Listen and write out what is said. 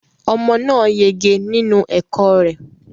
Omo náà yege nínú ẹ̀kọ́ rẹ